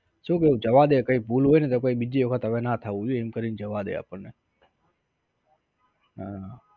શું થયું જવાદે કઈ ભૂલ હોય ને તો કોઈ બીજી વખત હવે ના થવું જોઈએ એમ કરીને જવા દે આપણને હા